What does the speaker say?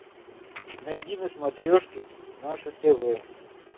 найди на смотрешке наше тв